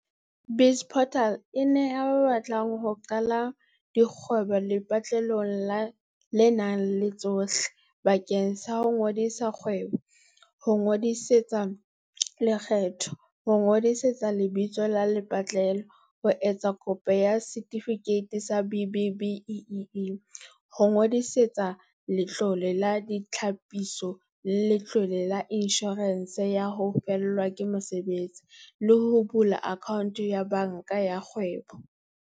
BizPortal e neha ba batlang ho qala dikgwebo lepatlelo le nang le tsohle bakeng sa ho ngodisa kgwebo, ho ingodisetsa lekgetho, ho ngodisa lebitso la lepatlelo, ho etsa kopo ya setifikeiti sa B-BBEE, ho ingodisetsa Letlole la Ditlhapiso le Letlole la Inshorense ya ho Fellwa ke Mosebetsi, le ho bula akhaonto ya banka ya kgwebo.